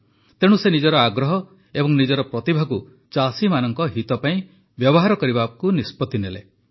ତେଣୁ ସେ ନିଜର ଆଗ୍ରହ ଏବଂ ନିଜର ପ୍ରତିଭାକୁ ଚାଷୀମାନଙ୍କ ହିତ ପାଇଁ ବ୍ୟବହାର କରିବାକୁ ନିଷ୍ପତ୍ତି ଗ୍ରହଣ କଲେ